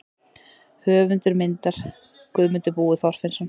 Höfundur myndar: Guðmundur Búi Þorfinnsson.